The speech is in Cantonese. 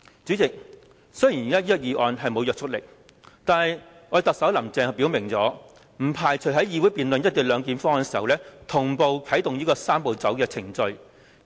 主席，雖然現時這項議案不具約束力，但特首"林鄭"已經表明，不排除在議會辯論"一地兩檢"方案時，同步啟動"三步走"程序。